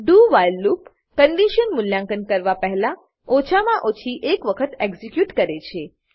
do while loop condition મૂલ્યાંકન કરવા પહેલા ઓછા મા ઓછી એક વખત એક્ઝીક્યુટ કરે છે